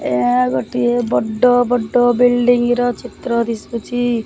ଏହା ଗୋଟିଏ ବଡ଼ ବଡ଼ ବିଲ୍ଡିଙ୍ଗ ର ଚିତ୍ର ଦିଶୁଚି ।